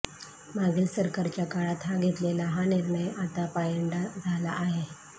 मागील सरकारच्या काळात हा घेतलेला हा निर्णय आता पायंडा झाला आहे